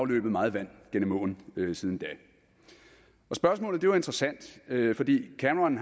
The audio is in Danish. løbet meget vand gennem åen siden da spørgsmålet er interessant fordi cameron